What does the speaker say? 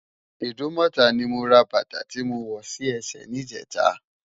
Idumota ni mó rá bata ti mó wò si èsè nijètâ